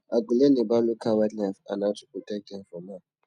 i go learn about local wildlife and how to protect dem from harm